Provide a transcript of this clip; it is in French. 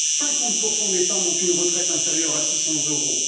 50 des femmes ont une retraite inférieure à 600 euros.